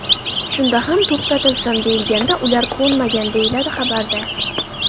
Shunda ham to‘xtatilsin deyilganida ular ko‘nmagan”, deyiladi xabarda.